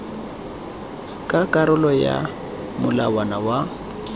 ka karolo ya molawana wa